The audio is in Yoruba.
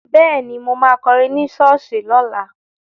Bẹ́ẹ̀ni, mo ma kọrin ní ṣọ́ọ̀ṣì lọ́la